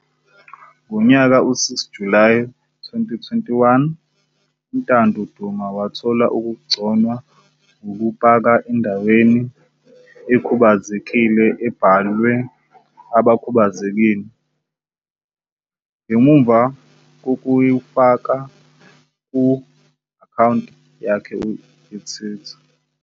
Ngo-6 Julayi 2021, uNtando Duma wathola ukugconwa ngokupaka endaweni ekhubazekile ebhalwe abakhubazekile, ngemuva kokuyifaka ku-akhawunti yakhe yeTwitter.